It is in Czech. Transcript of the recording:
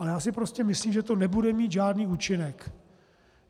Ale já si prostě myslím, že to nebude mít žádný účinek.